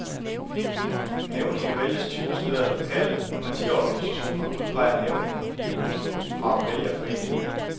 Nævninge vælges typisk ved, at lokale partiorganisationer udpeger nævninger fra vælgerforeningerne.